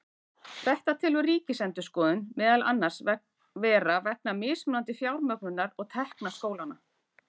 Þetta telur Ríkisendurskoðun meðal annars vera vegna mismunandi fjármögnunar og tekna skólanna.